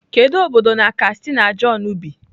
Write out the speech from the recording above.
Kedu obodo na kastina john bi?